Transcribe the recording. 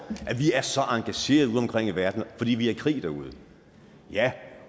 at vi er så engagerede udeomkring i verden fordi vi er i krig derude ja